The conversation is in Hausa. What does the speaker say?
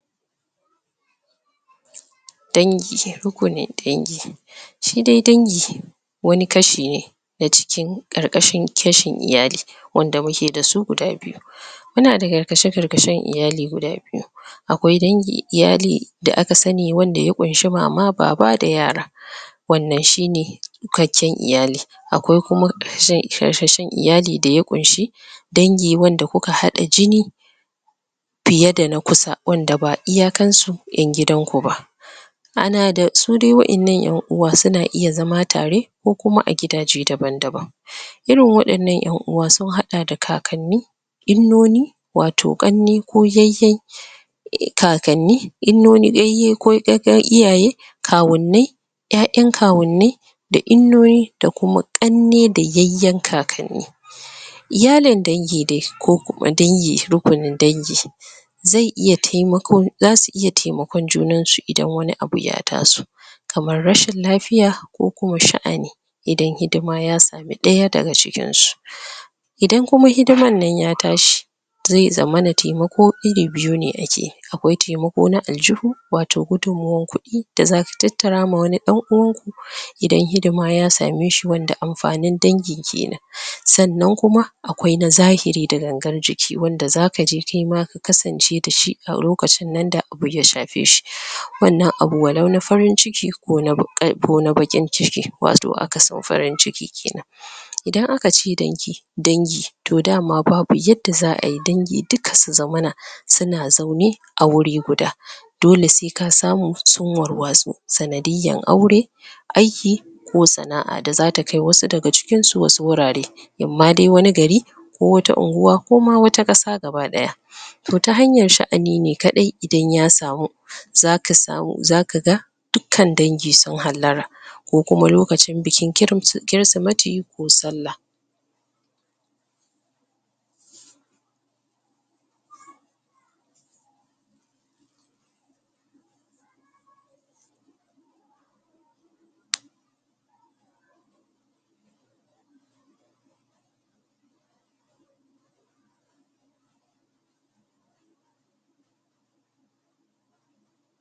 Dangi uku dangi shi dai dangi wani kashi ne na cikin ƙarƙashin kashin iyali wanda muke da su guda biyu muna da karkashe-karkashen iyali guda biyu akwai dangi iyali da aka sani wanda ya ƙunshi mama, baba da yara wannan shi ne tsukakken iyali akwai kuma? iyali da ya ƙunashi dangi wanda ku ka haɗa jini fiye da na kusa wanda ba iyakansu ƴan gidanku ba ana da su dai waɗannan ƴan uwa su na iya zama tare ko kuma a gidaje daban-daban irin waɗannan ƴan uwa sun haɗa da kakanni Innoni wato ƙannai ko yayye kakanni Innoni yayye ko iyaye kawunnai ƴaƴaan kawunnai da innoni da kuma ƙannai da yayyen kakanni iyalin dangi dai kuma dangi rukunin dangi zai iya taimakon za su iya taimakon junansu idan wani abu ya taso kamar rashin lafiya ko kuwa sha'ani idan hidima ya samu ɗaya daga cikinsu idan kuma hidimar nan ya tashi zai zamana taimako iri biyu ne ake akwai taimako na aljihu wato gudunmawar kuɗi da zaka tattarawa wani ɗan uwanku idan hidima ya same shi wanda amfanin dangin kenan sannan kuma akwai na zahiri da gangar jiki wanda zaka je kai ma ku kasance da shi a lokacin nan da abu ya shafe shi wannan abu walau na farin-ciki ko na baƙin-ciki wato akasin farin-ciki kenan idan aka ce dangi dangi! to dama babu yadda za a yi dangi duka su zamana su na zaune a wuri guda dole sai ka samu sun warwatsu sanadiyyar aure aiki ko sana'a da za ta kai wasu daga cikinsu wasu wurare in ma dai wani gari ko wata unguwa ko ma wata ƙasa gabaɗaya to ta hanyar sha'ani kaɗai idan ya samu zaka samu, zaka ga dukkan dangi sun hallara ko kuma lokacin bukin Kirsimeti ko Sallah